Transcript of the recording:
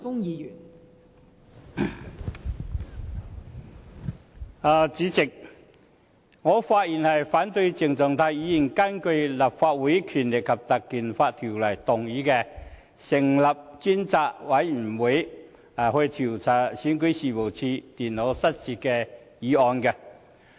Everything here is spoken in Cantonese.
代理主席，我發言反對鄭松泰議員根據《立法會條例》，動議成立專責委員會調查選舉事務處電腦失竊的議案。